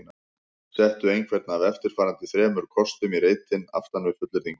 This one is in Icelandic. Settu einhvern af eftirfarandi þremur kostum í reitinn aftan við fullyrðinguna